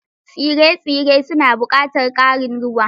Tsire-tsire suna buƙatar ƙarin ruwa.